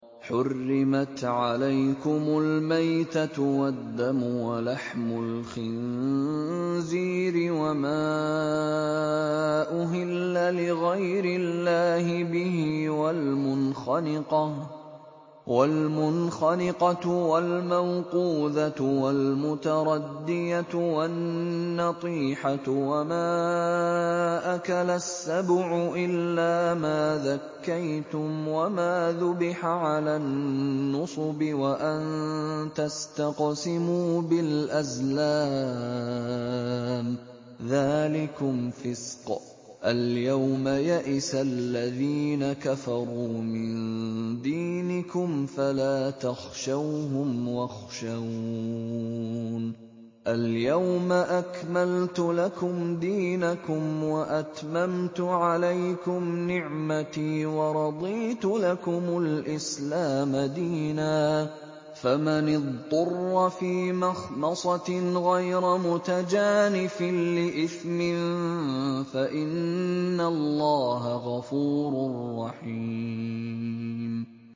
حُرِّمَتْ عَلَيْكُمُ الْمَيْتَةُ وَالدَّمُ وَلَحْمُ الْخِنزِيرِ وَمَا أُهِلَّ لِغَيْرِ اللَّهِ بِهِ وَالْمُنْخَنِقَةُ وَالْمَوْقُوذَةُ وَالْمُتَرَدِّيَةُ وَالنَّطِيحَةُ وَمَا أَكَلَ السَّبُعُ إِلَّا مَا ذَكَّيْتُمْ وَمَا ذُبِحَ عَلَى النُّصُبِ وَأَن تَسْتَقْسِمُوا بِالْأَزْلَامِ ۚ ذَٰلِكُمْ فِسْقٌ ۗ الْيَوْمَ يَئِسَ الَّذِينَ كَفَرُوا مِن دِينِكُمْ فَلَا تَخْشَوْهُمْ وَاخْشَوْنِ ۚ الْيَوْمَ أَكْمَلْتُ لَكُمْ دِينَكُمْ وَأَتْمَمْتُ عَلَيْكُمْ نِعْمَتِي وَرَضِيتُ لَكُمُ الْإِسْلَامَ دِينًا ۚ فَمَنِ اضْطُرَّ فِي مَخْمَصَةٍ غَيْرَ مُتَجَانِفٍ لِّإِثْمٍ ۙ فَإِنَّ اللَّهَ غَفُورٌ رَّحِيمٌ